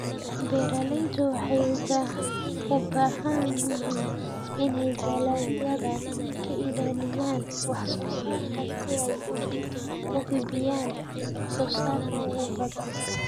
Beeraleydu waxay u baahan yihiin inay dalagyada ka ilaaliyaan wax-soo-saarka si ay u hubiyaan wax-soo-saarka ugu badan.